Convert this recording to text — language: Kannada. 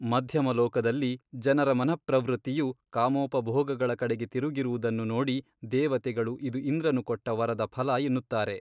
ಮಧ್ಯಮಲೋಕದಲ್ಲಿ ಜನರ ಮನಃಪ್ರವೃತ್ತಿಯು ಕಾಮೋಪಭೋಗಗಳ ಕಡೆಗೆ ತಿರುಗಿರುವುದನ್ನು ನೋಡಿ ದೇವತೆಗಳು ಇದು ಇಂದ್ರನು ಕೊಟ್ಟ ವರದ ಫಲ ಎನ್ನುತ್ತಾರೆ.